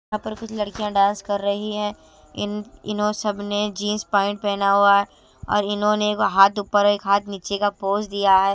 यहां पर कुछ लड़कियां डांस कर रही हैं इन इन्हों सबने जींस पाइंट पहना हुआ है और इन्होंने एक हाथ ऊपर और एक हाथ नीचे का पोज दिया है।